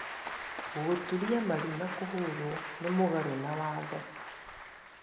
Gũturia maru na kũhũũrwo nĩ mũgaru na watho